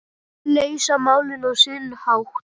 Leysa málin á sinn hátt.